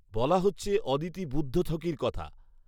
বলা হচ্ছে অদিতি বুদ্ধথকির কথা